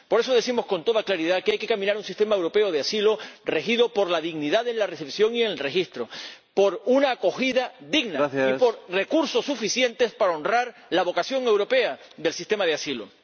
Por eso decimos con toda claridad que hay que caminar hacia un sistema europeo de asilo regido por la dignidad en la recepción y en el registro, por una acogida digna y por recursos suficientes para honrar la vocación europea del sistema de asilo.